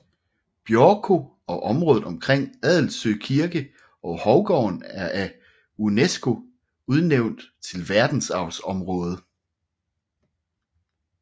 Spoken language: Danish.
Björkö og området omkring Adelsö kirke og Hovgården er af Unesco udnævnt til verdensarvsområde